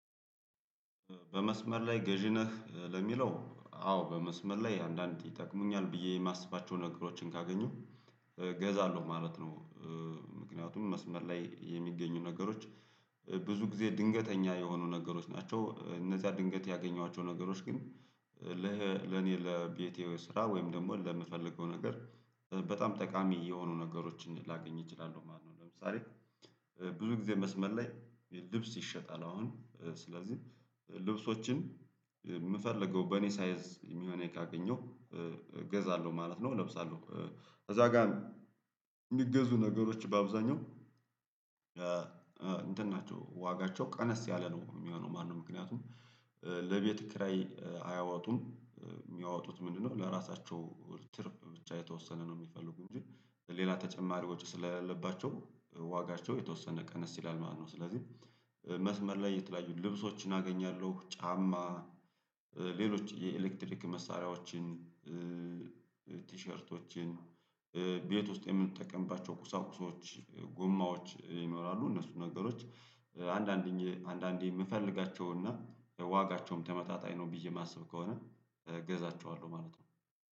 በመስመር ላይ ገዢ ነህ ለሚለው አዎ በመስመር ላይ አንዳንድ ይጠቅሙኛል ብዬ የማስባቸውን ነገሮችን ካገኘሁ እገዛለሁ ማለት ነው። ምክንያቱም መስመር ላይ የሚገኙ ነገሮች ብዙ ጊዜ ድንገተኛ የሆኑ ነገሮች ናቸው። እነዛ ድንገት ያገኘኋቸው ነገሮች ግን ለኔ ለቤቴ ስራ ወይም ደግሞ ለምፈልገው ነገር በጣም ጠቃሚ የሆኑ ነገሮችን ላገኝ እችላለሁ ማለት ነው። ለምሳሌ ብዙ ጊዜ መስመር ላይ ልብስ ይሸጣል አሁን ስለዚህ ልብሶችን የምፈልገው በኔ ሳይዝ የሚሆነኝ ካገኘሁ እገዛለሁ ማለት ነው። እለብሳለሁ ከዛ ጋር የሚገዙ ነገሮች በአብዛኛው እንትን ናቸው ዋጋቸው ቀነስ ያለ ነው የሚሆነው ማለት ነው። ምክንያቱም ለቤት ክራይ አያወጡም የሚያወጡት ምንድነው? ለራሳቸው ትርፍ ብቻ የተወሰነ ነው የሚፈልጉኝ እንጂ ሌላ ተጨማሪዎች ስለሌለባቸው ዋጋቸው የተወሰነ ቀነስ ይላል ማለት ነው። ስለዚህ መስመር ላይ የተለያዩ ልብሶችን አገኛለሁ። ጫማ ሌሎች የኤሌክትሪክ መሳሪያዎችን ቲሸርቶችን ቤት ውስጥ የምንጠቀምባቸው ቁሳቁሶች ጎማዎች ይኖራሉ። እነሱ ነገሮች አንዳንዴ አንዳንዴ የምፈልጋቸውና ዋጋቸውም ተመጣጣኝ ነው ብዬ የማስብ ከሆነ እገዛቸዋለሁ ማለት ነው